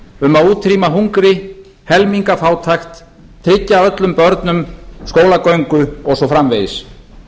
um að útrýma hungri helmingafátækt tryggja öllum börnum skólagöngu og svo framvegis